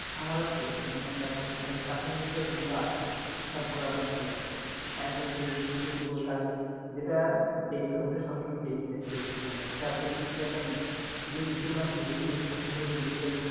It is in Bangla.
আমারও same cartoon যতগুলো আছে সব গুলো আমার প্রিয় একদম facebook ঢুকে ওটা আগে দেখি যেটা ডাকাত ওটা অসময় দেখি সে তা দুজনেরই খেয়াল করছো ক না জানিনা যে বিষয় গুলো দেখতে বেশি পছন্দ করি ওই বিষয়